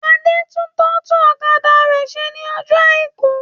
Adé tún tọ́tù ọ̀kadà rẹ ṣe ní ọjọ̀ àìkú.